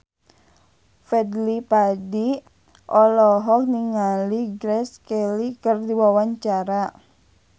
Fadly Padi olohok ningali Grace Kelly keur diwawancara